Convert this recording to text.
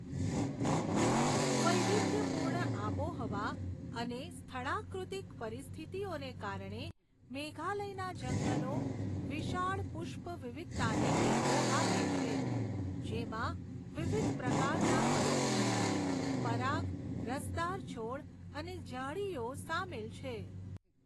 વૈવિધ્યપૂર્ણ આબોહવા અને સ્થળાકૃતિક પરિસ્થિતિઓને કારણે, મેઘાલયના જંગલો વિશાળ પુષ્પ વિવિધતાને ટેકો આપે છે, જેમાં વિવિધ પ્રકારના પરોપજીવી, પરાગ, રસદાર છોડ અને ઝાડીઓ સામેલ છે.